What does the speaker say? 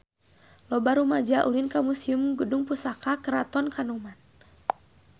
Loba rumaja ulin ka Museum Gedung Pusaka Keraton Kanoman